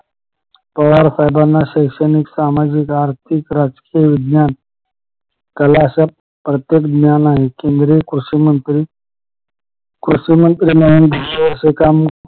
पवार साहेबाना शैक्षणिक, सामाजिक, आर्थिक, राजकीय, विज्ञान कला अश्या प्रत्येक ज्ञान आहे केंद्रीय कृषी मंत्री कृषि मंत्री म्हणून दहा वर्ष काम